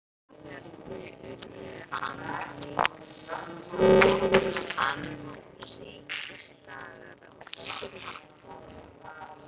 Dagarnir urðu annríkisdagar af öðrum toga.